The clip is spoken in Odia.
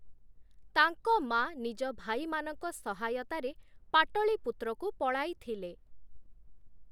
ତାଙ୍କ ମାଆ ନିଜ ଭାଇମାନଙ୍କ ସହାୟତାରେ ପାଟଳୀପୁତ୍ରକୁ ପଳାଇ ଥିଲେ ।